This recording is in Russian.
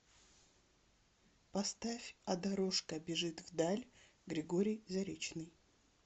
поставь а дорожка бежит вдаль григорий заречный